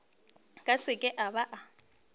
ka se ke a ba